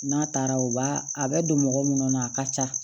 N'a taara u b'a a bɛ don mɔgɔ mun kɔnɔ a ka ca